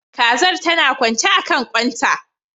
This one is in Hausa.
Kazar tana kwance akan kwan ta